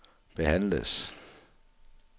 behandles